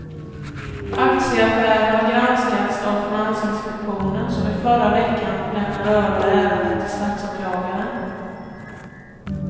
Aktieaffärerna har granskats av finansinspektionen som i förra veckan lämnade över ärendet till statsåklagaren.